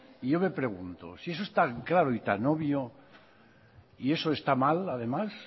y yo me pregunto si eso es tan claro y tan obvio y eso está mal además